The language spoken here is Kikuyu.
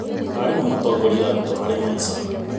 Arimũ no matongorie arutwo harĩ maica.